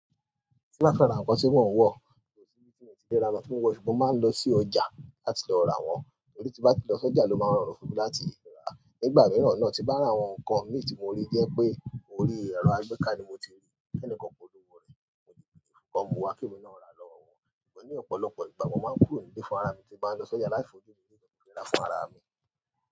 Tí bá ferá nǹkan tí mọn ò wọ̀, kò sí ibi tí mo le ra lọ fún un wọ̀, ṣùgbọ́n mo máa ń lọ sí ọjà láti lo ra wọ́n. Torí tí bá ti lọ sọ́jà ló máa ń rọrùn fún mi láti rà. Nígbà mìíràn náà, tí bá rà àwọn nǹkan mí tí mo rí jẹ́ pé orí ẹ̀rọ agbẹ́ ká ni mo ti rí, kẹ́ẹ́nìkan kò lo wò rẹ̀. Wọ́n mu wa kí e mi náà rà lọ́wọ́ wọn. Ṣùgbọ́n ní ọ̀pọ̀lọpọ̀ ìgbà, wọ́n máa ń kúrò nílé fún ara mi tí bá ń lọ sọ́jà láti lọ ra fún ara mi.